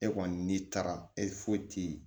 E kɔni n'i taara e foyi ti